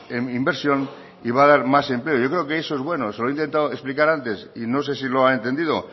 en inversión y va a dar más empleo yo creo que eso es bueno se lo he intentado explicar antes y no sé si lo ha entendido